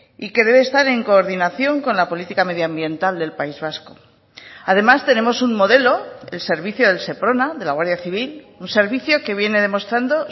y que debe estar en coordinación con la política medioambiental del país vasco además tenemos un modelo el servicio del seprona de la guardia civil un servicio que viene demostrando